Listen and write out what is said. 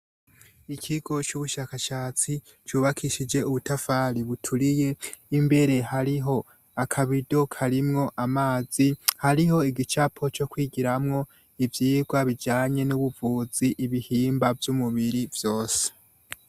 Ikigo c'ubushakashatsi cubakishije ubutafari buturiye, imbere hariho aka bido karimwo amazi, hariho igicapo co kwigiramwo ivyigwa bijanye n'ubuvuzi ibihimba vy'umubiri vyose.